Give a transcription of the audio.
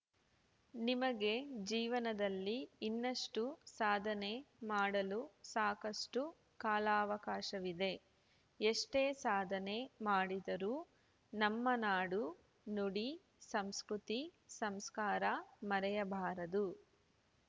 ನಿಮಗೆ ಜೀವನದಲ್ಲಿ ಇನ್ನಷ್ಟುಸಾಧನೆ ಮಾಡಲು ಸಾಕಷ್ಟು ಕಾಲಾವಕಾಶವಿದೆ ಎಷ್ಟೇ ಸಾಧನೆ ಮಾಡಿದರೂ ನಮ್ಮ ನಾಡು ನುಡಿ ಸಂಸ್ಕೃತಿ ಸಂಸ್ಕಾರ ಮರೆಯಬಾರದು